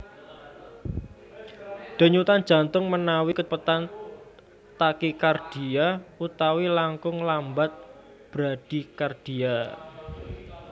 Dényutan jantung ménawi kacépétan takikardia utawi langkung lambat bradikardia